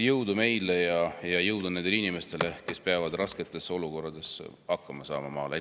Jõudu meile ja jõudu nendele inimestele, kes peavad maal rasketes olukordades hakkama saama!